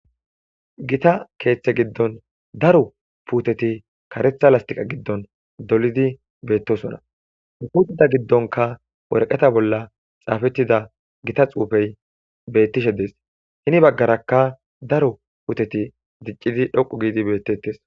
Gita keeththe giddon daro puuteti karetha lastiqa giddon dolidi beettosona puttida giddonka worqeta bolla xaafettida gita xuufey bettishe dees hini baggarakka daro puuteti diccidi dhoqu giidi bettettes.